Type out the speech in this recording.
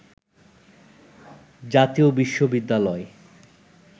জাতীয় বিশ্ববিদ্যালয়